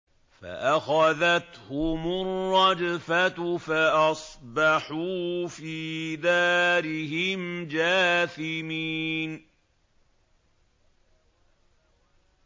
فَأَخَذَتْهُمُ الرَّجْفَةُ فَأَصْبَحُوا فِي دَارِهِمْ جَاثِمِينَ